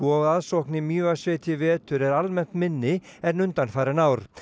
og aðsókn í Mývatnssveit í vetur er almennt minni en undanfarin ár